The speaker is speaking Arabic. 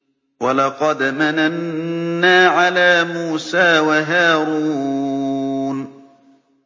وَلَقَدْ مَنَنَّا عَلَىٰ مُوسَىٰ وَهَارُونَ